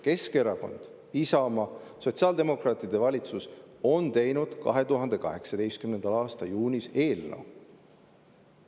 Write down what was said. Keskerakonna, Isamaa, sotsiaaldemokraatide valitsus on teinud 2018. aasta juunis eelnõu.